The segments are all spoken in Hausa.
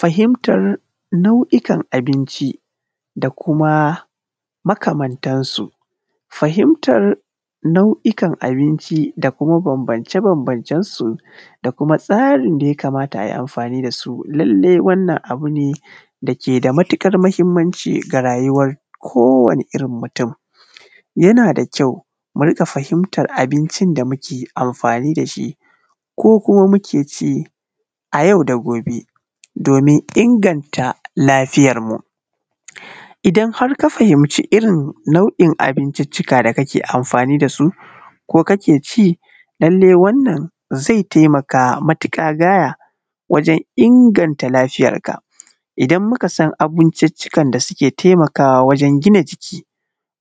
Fahimatar nau’ikan abinci da kuma makamantar su, fahimatar na’uikan abinci da kuma bambance-bambancen su da kuma tsarin da ya kamata ayi amfani da su, lallai wannan abu ne dake da matuƙar muhimmanci ga rayuwar kowane irin mutum, yana da kyau mu rika fahimatar abincin da muke amfani da shi ko kuma muke ci a yau da gobe domin inganta lafiyarmu, idan har ka fahimci irin nau’in abinciccika da kake amfani da su ko kake ci, lallai wannan zai taimaka matuƙa gaya wajen inganta lafiyar ka, idan muka san abinciccika da ke taimaka wajen gina jiki,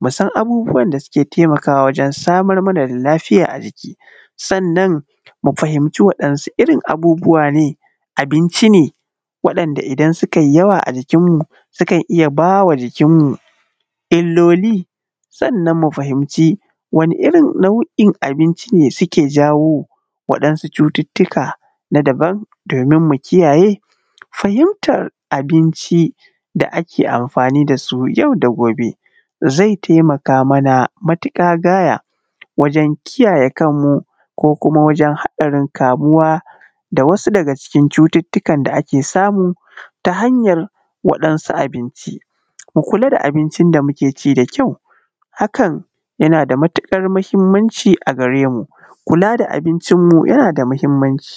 mu san abubuwan da suke taimakawa wajen samar mana da lafiya a jiki sannan mu fahimci waɗansu irin abubuwa ne, abinci ne waɗanɗa idan suka yi yawa a jikin mu sukan iya bawa jikinmu illoli sannan mu fahimci wani irin nau’in abinci ne suke jawo cututtuka na daban domin mu kiyaye, fahimtar abinci da ake amfani da su yau da gobe zai taimaka mana matuƙa gaya wajen kiyaye kanmu ko kuma wajen hatsarin kamuwa da wasu daga cikin cututtukan da ake samu ta hanyar waɗansu abinci, mu kula da abinci da muke ci da kyau hakan yana da matuƙar muhimmanci a gare mu, kula da abincinmu yana da muhimmanci.